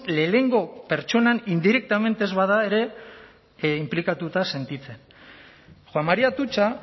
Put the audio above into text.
lehenengo pertsonan indirectamente ez bada ere inplikatuta sentitzen juan maria atutxa